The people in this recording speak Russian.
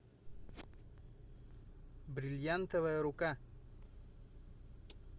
бриллиантовая рука